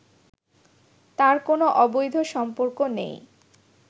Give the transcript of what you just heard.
তার কোনো অবৈধ সম্পর্ক নেই